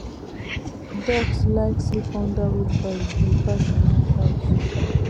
ducks like sleep under wheelbarrow we park behind house